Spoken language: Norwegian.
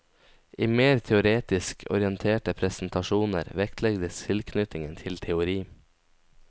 I mer teoretisk orienterte presentasjoner vektlegges tilknytningen til teori.